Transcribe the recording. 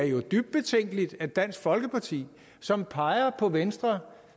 jo er dybt betænkeligt at dansk folkeparti som peger på venstre